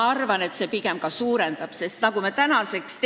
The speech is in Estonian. Ma arvan, et see pigem suurendab nende tähtsust.